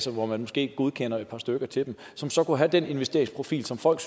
hvor man måske godkender et par stykker til dem som så kunne have den investeringsprofil som folk